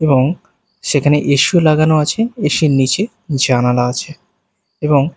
এবং সেখানে AC ও লাগানো আছে এ_সি এর নীচে জানালা আছে এবং --